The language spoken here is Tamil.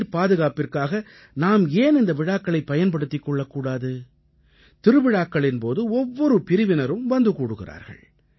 நீர்ப் பாதுகாப்பிற்க்காக நாம் ஏன் இந்த விழாக்களைப் பயன்படுத்திக் கொள்ளக் கூடாது திருவிழாக்களின் போது ஒவ்வொரு பிரிவினரும் வந்து கூடுகிறார்கள்